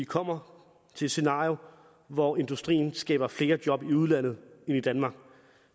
kommer til et scenarie hvor industrien skaber flere job i udlandet end i danmark